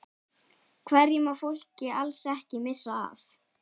Hverju má fólk alls ekki missa af?